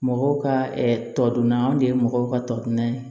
Mɔgɔw ka tɔ dunna o de ye mɔgɔw ka tɔdinɛ ye